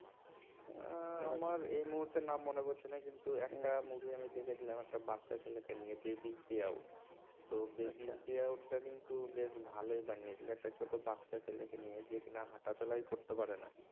আমার এই মুহূর্তে নাম মনে পড়ছে না কিন্তু একটা movie আমি দেখেছিলাম একটা বাচ্চা ছেলেকে নিয়ে বেবিস ডে আউট তো baby day out কিন্তু বেশ ভালোই বানিয়েছিল একটা ছোট বাচ্চা ছেলেকে নিয়ে যে কিনা হাটা চলাই করতে পারে না।